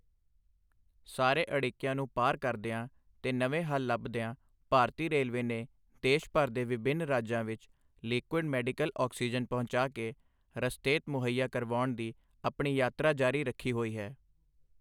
ਸਾਰੇ ਅੜਿੱਕਿਆਂ ਨੂੰ ਪਾਰ ਕਰਦਿਆਂ ਤੇ ਨਵੇਂ ਹੱਲ ਲੱਭਦਿਆਂ ਭਾਰਤੀ ਰੇਲਵੇ ਨੇ ਦੇਸ਼ ਭਰ ਦੇ ਵਿਭਿੰਨ ਰਾਜਾਂ ਵਿੱਚ ਲਿਕੁਇਡ ਮੈਡੀਕਲ ਆਕਸੀਜਨ ਪਹੁੰਚਾ ਕੇ ਰਸਤੇਤ ਮੁਹੱਈਆ ਕਰਵਾਉਣ ਦੀ ਆਪਣੀ ਯਾਤਰਾ ਜਾਰੀ ਰੱਖੀ ਹੋਈ ਹੈ।